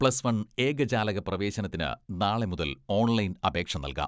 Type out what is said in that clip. Plus one ഏകജാലക പ്രവേശനത്തിന് നാളെ മുതൽ ഓൺലൈൻ അപേക്ഷ നൽകാം.